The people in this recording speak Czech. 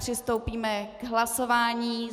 Přistoupíme k hlasování.